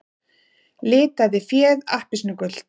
Litaði féð appelsínugult